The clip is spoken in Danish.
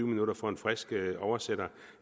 minutter for en frisk oversætter